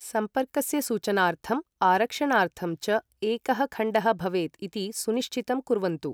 सम्पर्कस्य सूचनार्थम्, आरक्षणार्थं च एकः खण़्डः भवेत् इति सुनिश्चितं कुर्वन्तु।